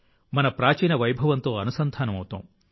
మన ప్రాచీన వైభవంతో అనుసంధానం అవుతాం